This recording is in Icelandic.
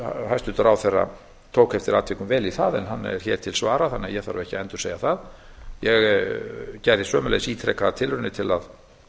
hæstvirtur ráðherra tók eftir atvikum vel í það en hann er hér til svara þannig að ég þarf ekki að endursegja það ég gerði sömuleiðis ítrekaðar tilraunir til að